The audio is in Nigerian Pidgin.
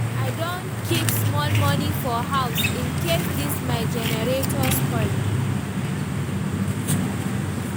I don keep small moni for house incase dis my generator spoil.